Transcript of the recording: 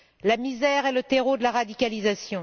La misère est le terreau de la radicalisation.